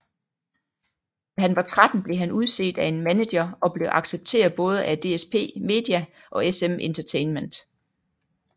Da han var 13 blev han udset af en maneger og blev accepteret både af DSp media og SM Entertainment